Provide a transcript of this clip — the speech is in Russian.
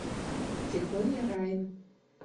тихоня райан